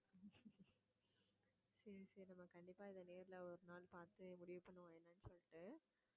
சரி சரி நம்ம கண்டிப்பா இதை நேர்ல ஒரு நாள் பார்த்து முடிவு பண்ணுவோம் என்னன்னு சொல்லிட்டு